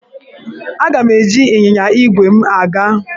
Aga m eji ịnyịnya ígwè m aga.